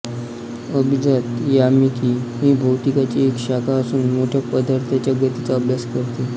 अभिजात यामिकी ही भौतिकीची एक शाखा असून मोठ्या पदार्थांच्या गतीचा अभ्यास करते